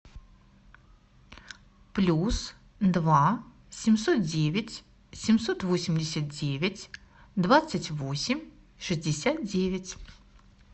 плюс два семьсот девять семьсот восемьдесят девять двадцать восемь шестьдесят девять